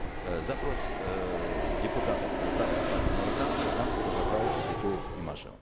э запрос эээ депутатов э фракции партии нур отан казанцев базарбаев кетуов имашева